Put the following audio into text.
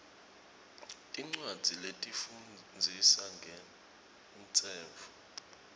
tincwadzi letifundzisa ngemtsetfo